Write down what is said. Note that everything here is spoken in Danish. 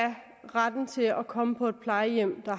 retten til at komme på et plejehjem hvor